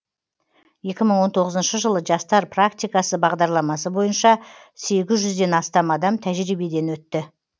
екі мың он тоғызыншы жылы жастар практикасы бағдарламасы бойынша сегіз жүзден астам адам тәжірибеден өтті